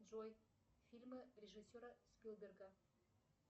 джой фильмы режиссера спилберга